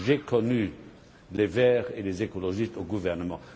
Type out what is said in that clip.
J'ai connu les Verts et les écologistes au gouvernement.